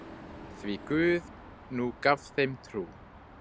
Því Guð nú gaf þeim trú.